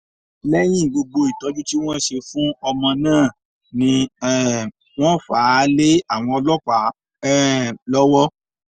lẹ́yìn gbogbo ìtọ́jú tí wọ́n ṣe fún ọmọ náà ni um wọ́n fà á lé àwọn ọlọ́pàá um lọ́wọ́